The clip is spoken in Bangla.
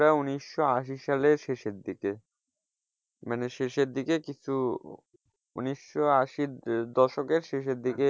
উনিশশো আশি সালের শেষের দিকে মানে শেষের দিকে কিছু উনিশশো আশি দশকের শেষের দিকে,